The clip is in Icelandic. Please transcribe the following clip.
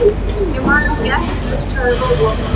Ég man ekki eftir þessu, sagði Lóa.